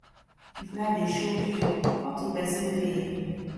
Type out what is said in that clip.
if life dey choke yu talk to pesin wey fit help yu